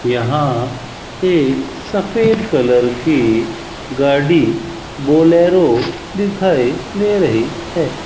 यहां एक सफेद कलर की गाड़ी बोलेरो दिखाई दे रही है।